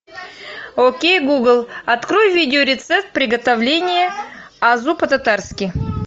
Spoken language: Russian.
окей гугл открой видео рецепт приготовления азу по татарски